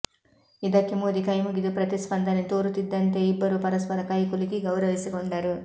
ಇದಕ್ಕೆ ಮೋದಿ ಕೈಮುಗಿದು ಪ್ರತಿಸ್ಪಂದನೆ ತೋರುತ್ತಿದ್ದಂತೆಯೇ ಇಬ್ಬರೂ ಪರಸ್ಪರ ಕೈ ಕುಲುಕಿ ಗೌರವಿಸಿಕೊಂಡರು